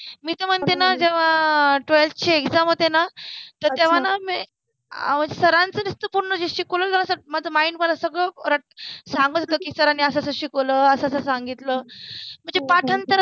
मि त मनते न जेव्हा ट्वेल्थ चि एग्जाम होति न तर तेव्हा न मि सरांच जे पुर्ण शिकवलेल असत ते माज्या माइण्ड मधे सर्व सांगितल कि सरानि अस अस शिकवल अस अस सांगितल मनजे पाठांतर